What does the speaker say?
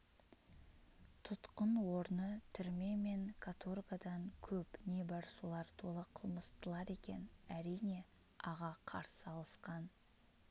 тұтқын орны түрме мен каторгадан көп не бар солар толы қылмыстылар екен әрине аға қарсы алысқан